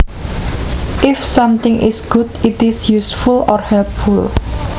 If something is good it is useful or helpful